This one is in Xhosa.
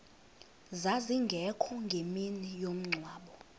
zazingekho ngemini yomngcwabo